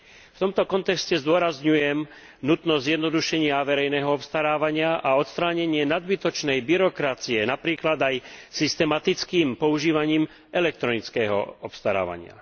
V tomto kontexte zdôrazňujem nutnosť zjednodušenia verejného obstarávania a odstránenie nadbytočnej byrokracie, napríklad aj systematickým používaním elektronického obstarávania.